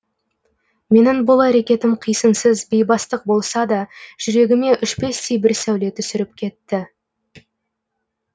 менің бұл әрекетім қисынсыз бейбастық болса да жүрегіме өшпестей бір сәуле түсіріп кетті